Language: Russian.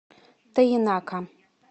тоенака